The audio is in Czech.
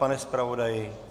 Pane zpravodaji?